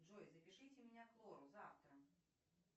джой запишите меня к лору завтра